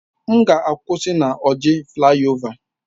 M ga-akwụsị na Orji flayova